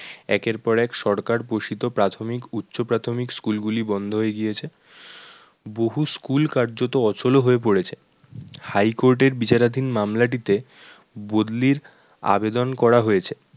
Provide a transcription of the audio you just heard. একের পর এক সরকার প্রসূত প্রাথমিক উচ্চ প্রাথমিক school গুলি বন্ধ হয়ে গিয়েছে। বহু school কার্যত অচলও হয়ে পড়েছে high court এর বিচারাধীন মামলাটিতে বদলির আবেদন করা হয়েছে।